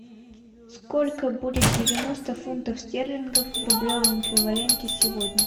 сколько будет девяносто фунтов стерлингов в рублевом эквиваленте сегодня